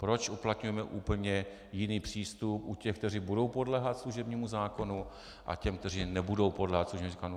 Proč uplatňujeme úplně jiný přístup u těch, kteří budou podléhat služebnímu zákonu, a těch, kteří nebudou podléhat služebnímu zákonu?